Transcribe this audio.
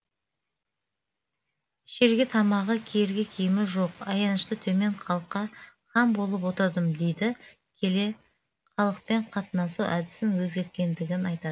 ішерге тамағы киерге киімі жоқ аянышты төмен халыққа хан болып отырдым дейді келе халықпен қатынасу әдісін өзгерткендігін айта